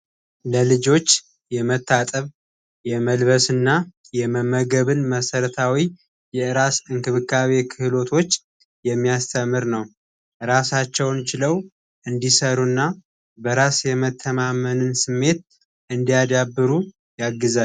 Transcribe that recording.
ለልጆች የመታጠብ የመልበስ ና የመመገብን መሠረታዊ የእራስ እንክብካቤ የክህሎቶች የሚያስተምር ነው። እራሳቸውን ችለው እንዲሰሩ እና በራስ የመተማመንን ስሜት እንዲያዳብሩ ያግዛል።